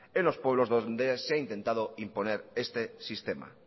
en los pueblos donde se ha intentado imponer este sistema